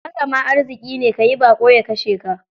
Haka ma arziƙi ne, ka yi baƙo ya kashe ka.